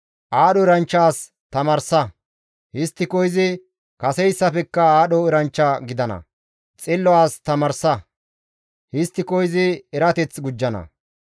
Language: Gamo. Aadho eranchcha as tamaarsa; histtiko izi kaseyssafekka aadho eranchcha gidana. Xillo as tamaarsa; histtiko izi erateth gujjana.